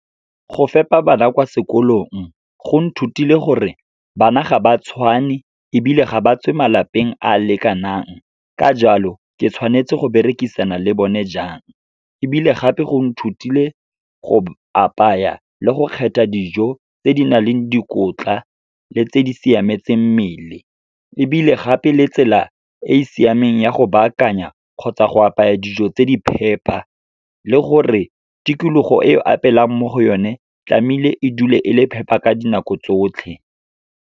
Go fepa bana kwa sekolong go nthutile gore bana ga ba tshwane ebile ga ba tswe malapeng a a lekanang, ka jalo ke tshwanetse go berekisana le bone jang. Ebile gape go nthutile go apaya, le go kgetha dijo tse di nang le dikotla, le tse di siametseng mmele. Ebile gape, le tsela e siameng ya go baakanya kgotsa go apaya dijo tse di phepa, le gore tikologo e o apeelang mo go yone tlamehile e dule e le phepa ka dinako tsotlhe.